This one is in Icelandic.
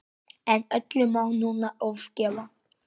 En öllu má nú ofgera.